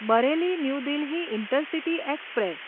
Bareilly New Delhi intercity express